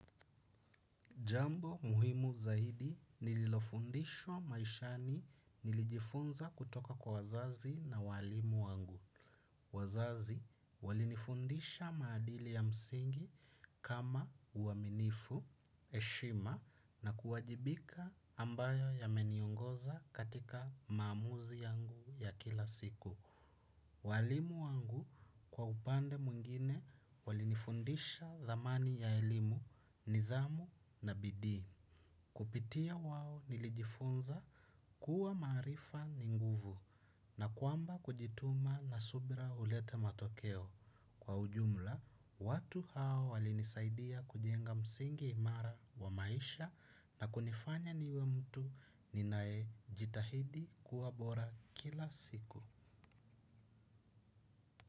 Jambo muhimu zaidi nililofundishwa maishani nilijifunza kutoka kwa wazazi na walimu wangu. Wazazi walinifundisha maadili ya msingi kama uaminifu, eshima na kuwajibika ambayo yameniongoza katika maamuzi yangu ya kila siku. Walimu wangu kwa upande mwingine walinifundisha zamani ya elimu ni dhamu na bidi. Kupitia wao nilijifunza kuwa marifa ni nguvu na kuamba kujituma na subira ulete matokeo. Kwa ujumla, watu hao walinisaidia kujenga msingi imara wa maisha na kunifanya niwe mtu ninae jitahidi kuwa bora kila siku.